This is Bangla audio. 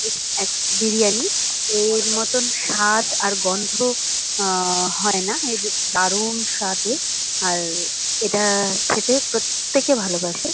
এক বিরিয়ানি। এর মতন স্বাদ আর গন্ধ আ হয় না। এর দারুন স্বাদে আর-অ এটা খেতে প্রত্যেকে ভালোবাসে।